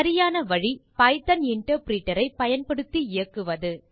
சரியான வழி Python interpreter ஐ பயன்படுத்தி இயக்குவது